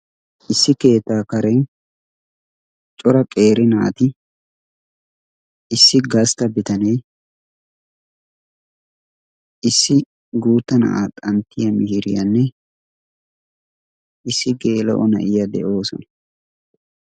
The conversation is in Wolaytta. issi keettaa kare cora qeeri naati issi gastta bitanee issi guutta na7aa xanttiya mihiiriyaanne issi geela7o na7iya de7oosona